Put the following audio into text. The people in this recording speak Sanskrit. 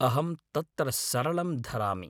अहं तत्र सरलं धरामि।